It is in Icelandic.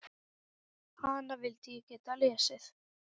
Hana vildi ég geta lesið.